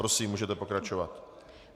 Prosím, můžete pokračovat.